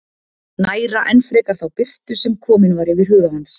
Næra enn frekar þá birtu sem komin var yfir huga hans.